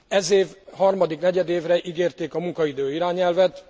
Ez év harmadik negyedévre ígérték a munkaidő irányelvet.